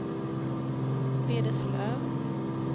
Vederslöv